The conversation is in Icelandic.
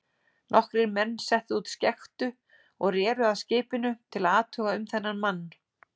Nokkrir menn settu út skektu og reru að skipinu til að athuga um þennan mann.